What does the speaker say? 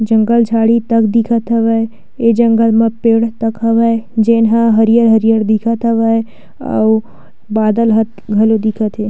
जंगल झाड़ी तक दिखत हवय ए जंगल म पेड़ तक हवय जेन हा हरियर-हरियर दिखत हवय अउ बादल ह घलो दिखत हे।